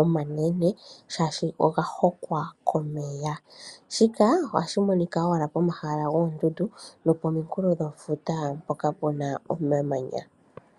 omanene shaashi oga hokwa komeya, shika ohashi monika owala komahala goondundu nokomikulo dhefuta hoka kuna omamanya.